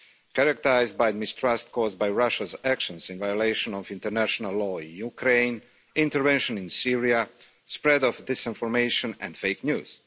characterised by mistrust caused by Russia's actions in violation of international law in Ukraine, intervention in Syria, the spread of disinformation and fake news.